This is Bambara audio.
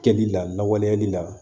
Kɛli lawaleyali la